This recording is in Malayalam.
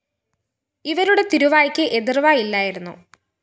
ഇവരുടെ തിരുവായ്ക്ക് എതിര്‍വാ ഇല്ലായിരുന്നു